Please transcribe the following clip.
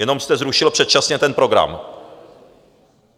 Jenom jste zrušil předčasně ten program.